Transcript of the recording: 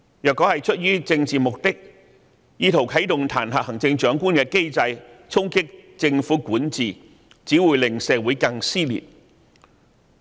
若出於政治目的而意圖啟動彈劾行政長官的機制，藉此衝擊政府管治，只會令社會更撕裂。